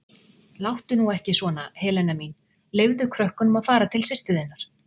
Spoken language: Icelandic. Láttu nú ekki svona, Helena mín, leyfðu krökkunum að fara til systur þinnar.